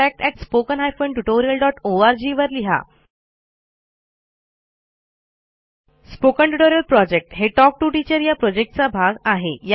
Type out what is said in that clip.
spoken tutorial project हे talk to teacher या प्रॉजेक्टचा एक भाग आहे